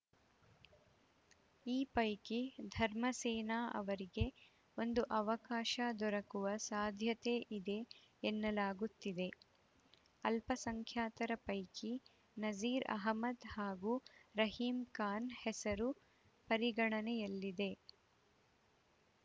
ಈ ಪೈಕಿ ಧರ್ಮಸೇನ ಅವರಿಗೆ ಒಂದು ಅವಕಾಶ ದೊರೆಕುವ ಸಾಧ್ಯತೆಯಿದೆ ಎನ್ನಲಾಗುತ್ತಿದೆ ಅಲ್ಪಸಂಖ್ಯಾತರ ಪೈಕಿ ನಜೀರ್‌ ಅಹಮ್ಮದ್‌ ಹಾಗೂ ರಹೀಂ ಖಾನ್‌ ಹೆಸರು ಪರಿಗಣನೆಯಲ್ಲಿದೆ